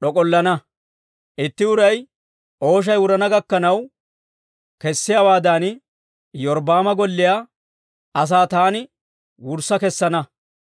d'ok'ollana. Itti uray ooshay wurana gakkanaw kessiyaawaadan, Iyorbbaama golliyaa asaa taani wurssa kessana.